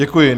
Děkuji.